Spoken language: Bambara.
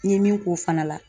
N ye min k'o fana la